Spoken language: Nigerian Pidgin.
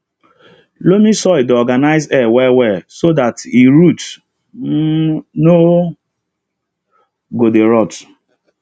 loamy soil dey organize air well well so that e root um no go dey rot